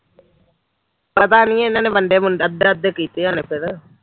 ਪਤਾ ਨੀ ਇਨਾਂ ਨੇ ਵੰਡੇ ਵੁਡੇ ਅੱਧੇ ਅੱਧੇ ਕੀਤੇ ਹੋਏ ਫਿਰ